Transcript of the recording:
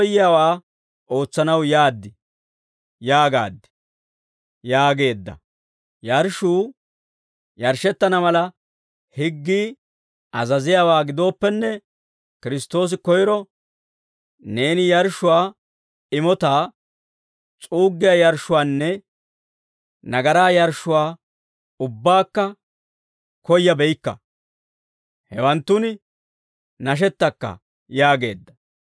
Yarshshuu yarshshettana mala, higgii azaziyaawaa gidooppenne, Kiristtoosi koyro, «Neeni yarshshuwaa, imotaa, s'uuggiyaa yarshshuwaanne nagaraa yarshshuwaa ubbaakka koyyabeykka; hewaanttun nashettakka» yaageedda.